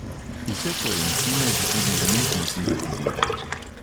Vse koencime že tudi umetno sintetizirajo.